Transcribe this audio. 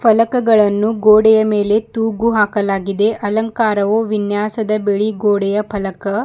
ಫಲಕಗಳನ್ನು ಗೋಡೆಯ ಮೇಲೆ ತೂಗು ಹಾಕಲಾಗಿದೆ ಅಲಂಕಾರವು ವಿನ್ಯಾಸದ ಬಿಳಿ ಗೋಡೆಯ ಫಲಕ--